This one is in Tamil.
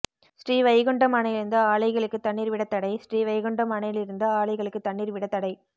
ஸ்ரீவைகுண்டம் அணையிலிருந்து ஆலைகளுக்கு தண்ணீர் விட தடை ஸ்ரீவைகுண்டம் அணையிலிருந்து ஆலைகளுக்கு தண்ணீர் விட தடை